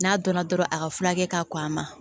N'a dɔnna dɔrɔn a ka furakɛ ka k'a ma